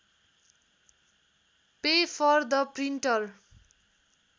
pay for the printer